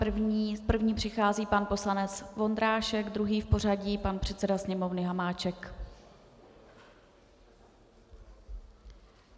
První přichází pan poslanec Vondrášek, druhý v pořadí pan předseda Sněmovny Hamáček.